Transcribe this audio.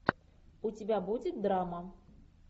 у тебя будет драма